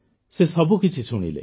ସେ ସବୁକିଛି ଶୁଣିଲେ